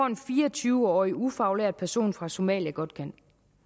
en fire og tyve årig ufaglært person fra somalia godt kan